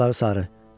Saçları sarı.